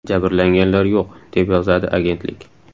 Jabrlanganlar yo‘q”, deb yozadi agentlik.